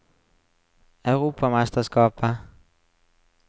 europamesterskapet